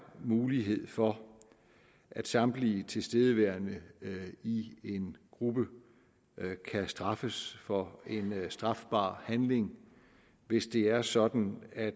mulighed for at samtlige tilstedeværende i en gruppe kan straffes for en strafbar handling hvis det er sådan at